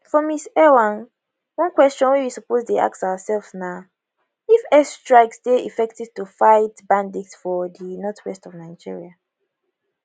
for ms ewang one question wey we suppose dey ask ourselves na if airstrikes dey effective to fight bandits for di northwest of nigeria